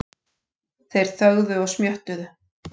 Þeir þögðu og smjöttuðu.